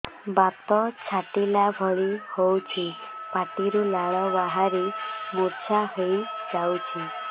ବାତ ଛାଟିଲା ଭଳି ହଉଚି ପାଟିରୁ ଲାଳ ବାହାରି ମୁର୍ଚ୍ଛା ହେଇଯାଉଛି